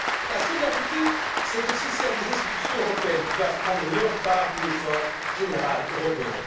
La solidarité, c'est aussi celle des institutions européennes, qui doivent contribuer à l'effort général européen.